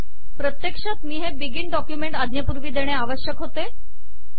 प्रत्यक्षात मी हे बिगिन डॉक्युमेंट आज्ञेपूर्वी देणे आवश्यक होते